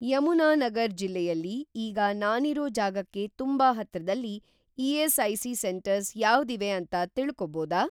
ಯಮುನಾನಗರ್ ಜಿಲ್ಲೆಯಲ್ಲಿ ಈಗ ನಾನಿರೋ ಜಾಗಕ್ಕೆ ತುಂಬಾ ಹತ್ರದಲ್ಲಿ ಇ.ಎಸ್.ಐ.ಸಿ. ಸೆಂಟರ್ಸ್‌ ಯಾವ್ದಿವೆ ಅಂತ ತಿಳ್ಕೊಬೋದಾ?